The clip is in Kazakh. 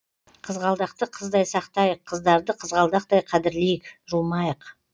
қызғалдақты қыздай сақтайық қыздарды қызғалдақтай қадірлейік жұлмайық